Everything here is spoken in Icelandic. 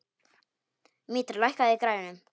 Mítra, lækkaðu í græjunum.